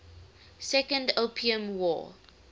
second opium war